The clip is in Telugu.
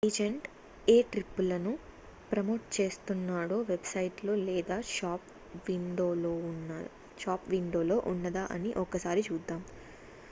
ఏజెంట్ ఏ ట్రిప్పులను ప్రమోట్ చేస్తున్నాడో వెబ్ సైట్ లో లేదా షాప్ విండోలో ఉన్నదా అని ఒక్కసారి చూద్దాం